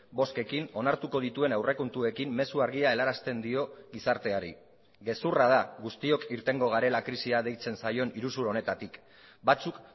bozkekin onartuko dituen aurrekontuekin mezu argia helarazten dio gizarteari gezurra da guztiok irtengo garela krisia deitzen zaion iruzur honetatik batzuk